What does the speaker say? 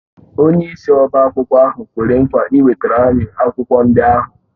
Onyeisi ọbá akwụkwọ ahụ kwere nkwa ịwetara m akwụkwọ ndị ahụ